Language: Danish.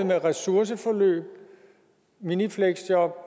med ressourceforløb minifleksjob